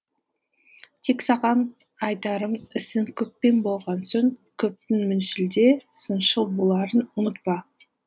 тек саған да айтарым ісің көппен болған соң көптің міншіл де сыншыл боларын ұмытпа